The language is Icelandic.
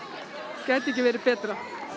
gæti ekki verið betra